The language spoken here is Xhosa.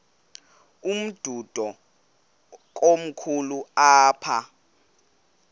umdudo komkhulu apha